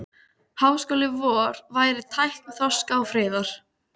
Háskóli vor væri tákn þroska og friðar.